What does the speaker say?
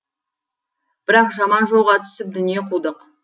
бірақ жаман жолға түсіп дүние қудық